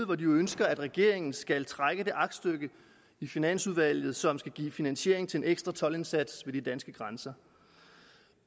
hvor de jo ønsker at regeringen skal trække det aktstykke i finansudvalget tilbage som skal give finansiering til en ekstra toldindsats ved de danske grænser